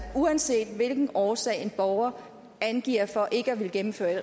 uanset hvilken årsag en borger angiver for ikke at kunne gennemføre et